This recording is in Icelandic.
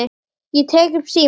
Ég tek upp símann.